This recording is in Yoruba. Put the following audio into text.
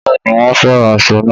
Bẹ́ẹ̀ ni, wọ́n fẹ́ràn aṣọ náà